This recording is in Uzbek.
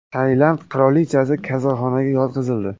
Tailand qirolichasi kasalxonaga yotqizildi.